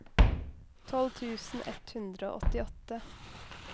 tolv tusen ett hundre og åttiåtte